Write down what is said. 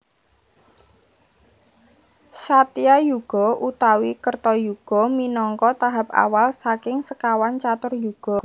Satyayuga utawi Kertayuga minangka tahap awal saking sekawan catur Yuga